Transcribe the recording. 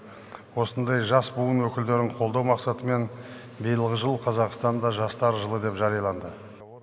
осындай жас буын өкілдерін қолдау мақсатымен биылғы жыл қазақстанда жастар жылы деп жарияланды